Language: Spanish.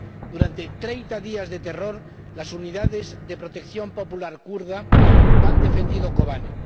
Durante treinta días de terror, las Unidades de Protección Popular kurdas han defendido Kobane.